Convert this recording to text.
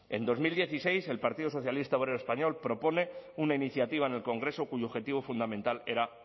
en dos mil dieciséis el partido socialista obrero español propone una iniciativa en el congreso cuyo objetivo fundamental era